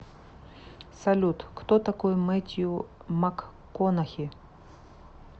салют кто такой мэттью макконахи